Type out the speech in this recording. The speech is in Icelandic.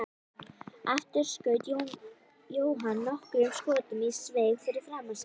Aftur skaut Jóhann nokkrum skotum í sveig fyrir framan sig.